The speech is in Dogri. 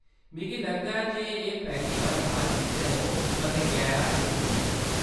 मिगी लगदा ऐ जे एह्‌‌ पैह्‌ली बारी हा जिसलै ओह्‌‌ कदें गैर हाजर हियां।